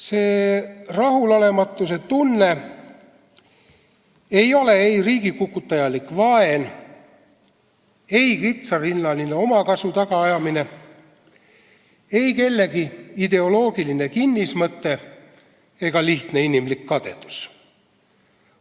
See rahulolematuse tunne ei ole ei riigikukutajalik vaen, ei kitsarinnaline omakasu tagaajamine, ei kellegi ideoloogiline kinnismõte ega lihtne inimlik kadedus.